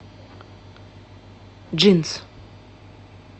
джинс